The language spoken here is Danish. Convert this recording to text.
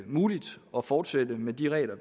muligt at fortsætte med de regler